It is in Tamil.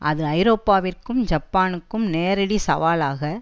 அது ஐரோப்பாவிற்கும் ஜப்பானுக்கும் நேரடி சவாலாக